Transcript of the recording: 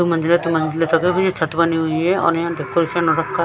छत बनी हुई है और यहां डेकोरेशन हो रखा--